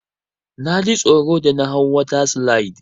Naji tsoro da na hau water slide.